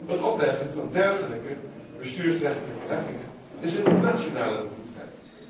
Het opleggen van dergelijke bestuursrechtelijke heffingen is een nationale bevoegdheid.